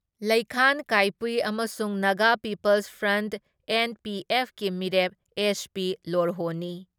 ꯂꯩꯈꯥꯟ ꯀꯥꯏꯄꯨ ꯑꯃꯁꯨꯡ Naga people's front NPF ꯀꯤ ꯃꯤꯔꯦꯞ ꯑꯦꯁ.ꯄꯤ. ꯂꯣꯔꯍꯣꯅꯤ ꯫